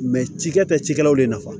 ci kɛ cikɛlaw de nafa